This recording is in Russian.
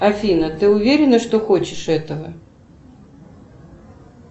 афина ты уверена что хочешь этого